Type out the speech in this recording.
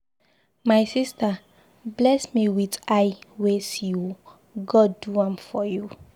My sister, bless me with eye wey see ooo, God do am for you.